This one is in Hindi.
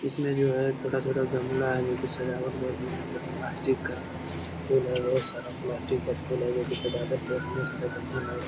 इसमें जो है छोटा-छोटा गमला है जो की सजावट बहुत मस्त है प्लास्टिक का फूल है बहुत सारा प्लास्टिक का फूल है जो की सजावट बहुत मस्त है बढ़िया लग रहा है।